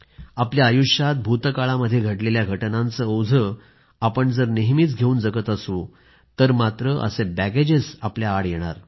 आपल्या आयुष्यात भूतकाळामध्ये घडलेल्या घटनांचं ओझं आपण जर नेहमीच घेऊन जगत असू तर मात्र ती आपल्या आड येणार